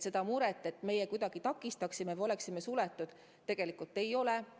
Seda muret, et me kuidagi takistaksime sellist rännet või oleksime suletud riik, ei ole.